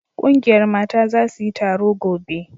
ƙungiyar Mata za su yi taro gobe